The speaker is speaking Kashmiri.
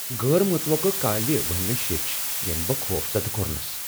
غٲر متوقع کالہِ ونہِ مے٘ شیچھِ ییمہِ بہٕ خوفزدٕ كو٘رنس ۔